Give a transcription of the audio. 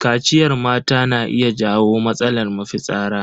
Kaciyar mata na iya jawo matsalar mafitsara.